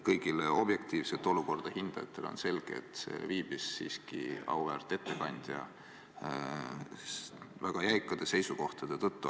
Kõigile objektiivselt olukorda hindajatele on selge, et see viibis siiski auväärt ettekandja väga jäikade seisukohtade tõttu.